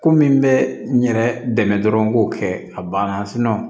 Ko min bɛ n yɛrɛ dɛmɛ dɔrɔn k'o kɛ a banna